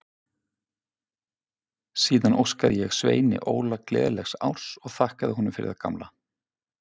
Síðan óskaði ég Sveini Óla gleðilegs árs og þakkaði honum fyrir það gamla.